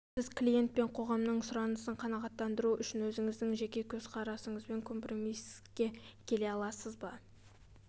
сіз клиент пен қоғамның сұранысын қанағаттандыру үшін өзіңіздің жеке көзқарасыңызбен компромиске келе аласыз ба